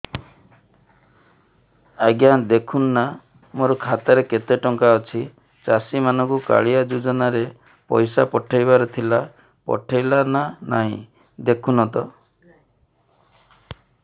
ଆଜ୍ଞା ଦେଖୁନ ନା ମୋର ଖାତାରେ କେତେ ଟଙ୍କା ଅଛି ଚାଷୀ ମାନଙ୍କୁ କାଳିଆ ଯୁଜୁନା ରେ ପଇସା ପଠେଇବାର ଥିଲା ପଠେଇଲା ନା ନାଇଁ ଦେଖୁନ ତ